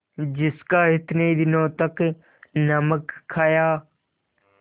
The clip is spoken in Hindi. जिसका इतने दिनों तक नमक खाया